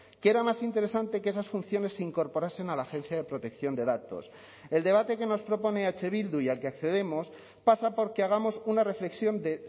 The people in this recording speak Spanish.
que era más interesante que esas funciones se incorporasen a la agencia de protección de datos el debate que nos propone eh bildu y al que accedemos pasa por que hagamos una reflexión de